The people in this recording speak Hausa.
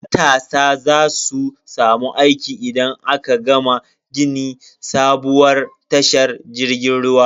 Matasa za su samu aiki idan aka gama gini sabuwar tashar jirgin ruwa.